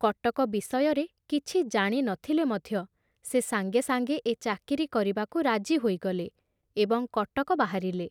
କଟକ ବିଷୟରେ କିଛି ଜାଣି ନ ଥିଲେ ମଧ୍ୟ ସେ ସାଙ୍ଗେ ସାଙ୍ଗେ ଏ ଚାକିରି କରିବାକୁ ରାଜି ହୋଇଗଲେ ଏବଂ କଟକ ବାହାରିଲେ।